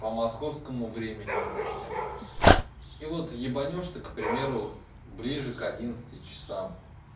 по московскому времени уточню и вот ебанёшь ты к примеру ближе к одиннадцати часам